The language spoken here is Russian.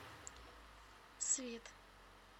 свит